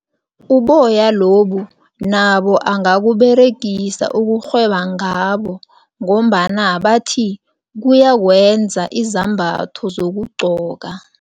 Uboya lobu nabo angakuberegisa ukurhweba ngabo ngombana bathi kuyakwenza izambatho zokugqoka.